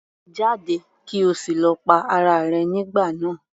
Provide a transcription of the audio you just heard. Jáde! kí o sì lọ pa ara rẹ nígbà náà.